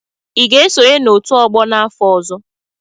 Ị ga-esonye n'otu ọgbọ n'afọ ọzọ?